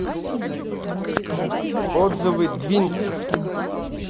отзывы двинцев